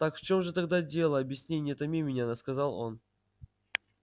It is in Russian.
так в чём же тогда дело объясни не томи меня сказал он